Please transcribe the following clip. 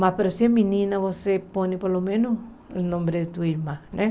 Mas para ser menina, você põe pelo menos o nome de sua irmã, né?